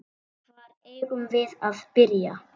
Hvar eigum við að byrja?